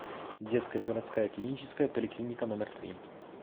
детская городская клиническая поликлиника номер три